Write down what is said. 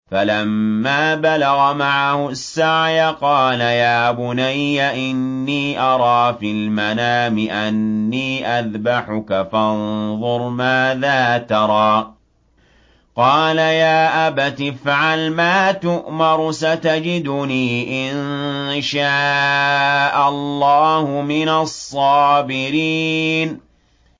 فَلَمَّا بَلَغَ مَعَهُ السَّعْيَ قَالَ يَا بُنَيَّ إِنِّي أَرَىٰ فِي الْمَنَامِ أَنِّي أَذْبَحُكَ فَانظُرْ مَاذَا تَرَىٰ ۚ قَالَ يَا أَبَتِ افْعَلْ مَا تُؤْمَرُ ۖ سَتَجِدُنِي إِن شَاءَ اللَّهُ مِنَ الصَّابِرِينَ